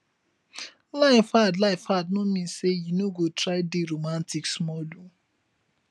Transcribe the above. life hard life hard no min sey you no go try dey romatik smal o